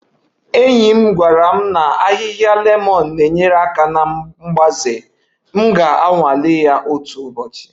Enyi m gwara m lemon ahịhịa na-enyere aka na mgbaze, m ga-anwale ya otu ụbọchị